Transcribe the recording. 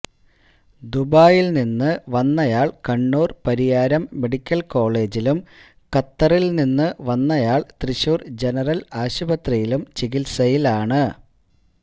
ദുബായില് നിന്ന് വന്നയാള് കണ്ണൂര് പരിയാരം മെഡിക്കല് കോളേജിലും ഖത്തറില് നിന്ന് വന്നയാള് തൃശൂര് ജനറല് ആശുപത്രിയിലും ചികിത്സയിലാണ്